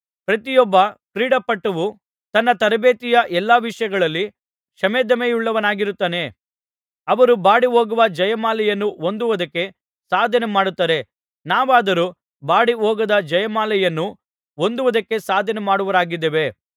ಪ್ರತಿಯೊಬ್ಬ ಕ್ರೀಡಾಪಟುವು ತನ್ನ ತರಬೇತಿಯ ಎಲ್ಲಾ ವಿಷಯಗಳಲ್ಲಿ ಶಮೆದಮೆಯುಳ್ಳವನಾಗಿರುತ್ತಾನೆ ಅವರು ಬಾಡಿ ಹೋಗುವ ಜಯಮಾಲೆಯನ್ನು ಹೊಂದುವುದಕ್ಕೆ ಸಾಧನೆ ಮಾಡುತ್ತಾರೆ ನಾವಾದರೋ ಬಾಡಿಹೋಗದ ಜಯಮಾಲೆಯನ್ನು ಹೊಂದುವುದಕ್ಕೆ ಸಾಧನೆ ಮಾಡುವವರಾಗಿದ್ದೇವೆ